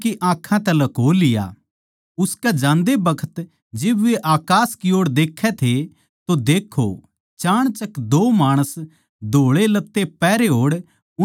उसकै जान्दे बखत जिब वे अकास की ओड़ देखै थे तो देक्खो चाणचक दो माणस धोळे लत्ते पहरे ओड़ उनकै लोवै आण खड़े होए